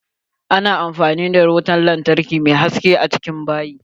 A na bukatan wutan lantarki mai haske a cikin bayi.